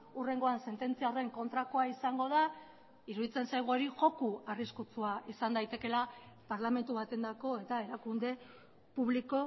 hurrengoan sententzia horren kontrakoa izango da iruditzen zaigu hori joko arriskutsua izan daitekeela parlamentu batendako eta erakunde publiko